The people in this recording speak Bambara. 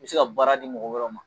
I bɛ se ka baara di mɔgɔ wɛrɛw ma